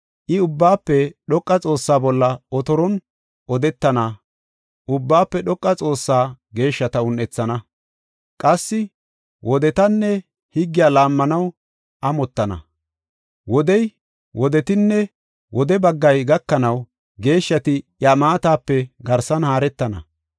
I, Ubbaafe Dhoqa Xoossaa bolla otoron odetana; Ubbaafe Dhoqa Xoossaa geeshshata un7ethana. Qassi wodetanne higgiya laammanaw amottana. Wodey, wodetinne wode baggay gakanaw, geeshshati iya maatape garsan haaretana.